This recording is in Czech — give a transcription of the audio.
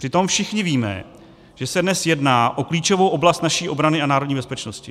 Přitom všichni víme, že se dnes jedná o klíčovou oblast naší obrany a národní bezpečnosti.